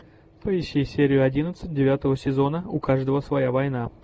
поищи серию одиннадцать девятого сезона у каждого своя война